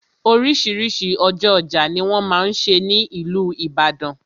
Oríṣiríṣi ọjọ́ ọjà ni wọ́n máa n ṣe ní ìlú Ìbàdàn.